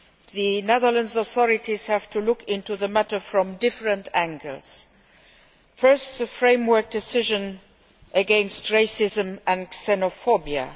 The Netherlands authorities have to look into the matter from different angles. First, the framework decision against racism and xenophobia.